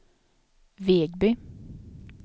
Vegby